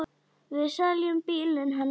Við seljum bílinn hennar þá.